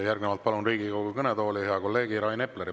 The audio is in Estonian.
Järgnevalt palun Riigikogu kõnetooli hea kolleegi Rain Epleri.